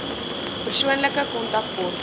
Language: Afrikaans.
persoonlike kontak kort